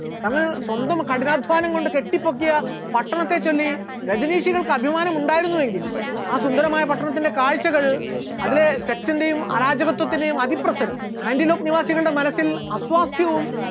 അന്ന് സ്വന്തം കഠിനാധ്വാനം കൊണ്ട് കെട്ടിപ്പൊക്കിയ പട്ടണത്തെ ചൊല്ലി രജനീഷികൾക്ക് അഭിമാനം ഉണ്ടായിരുന്നുവെങ്കിലും ആ സുന്ദരമായ പട്ടണത്തിന്റെ കാഴ്ചകൾ, അതിലെ section റെയും അരാജകത്വത്തിന്റെയും അതിപ്രസരം ആന്റിലോക്ക് നിവാസികളുടെ മനസ്സിൽ അസ്വാസ്ഥ്യവും